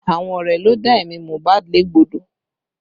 Àwọn ọ̀rẹ́ ló dá ẹ̀mí Mohbad légbodò